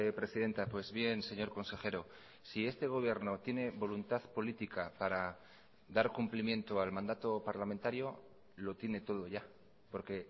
presidenta pues bien señor consejero si este gobierno tiene voluntad política para dar cumplimiento al mandato parlamentario lo tiene todo ya porque